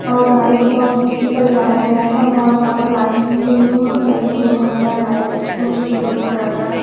और गाड़ी को बहुत अच्छे से सजाया गया है बहुत ज्यादा लाइटिंग डिम डिम कर रही हैं बहुत सारा लाइट जो डिम डिम कर रहा है।